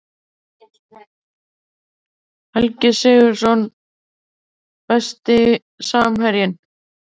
Helgi Sigurðsson Besti samherjinn?